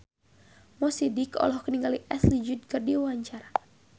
Mo Sidik olohok ningali Ashley Judd keur diwawancara